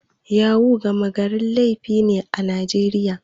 Yahu-yahu gama garin laifi ne a Najeriya.